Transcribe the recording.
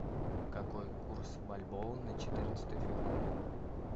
какой курс бальбоа на четырнадцатое февраля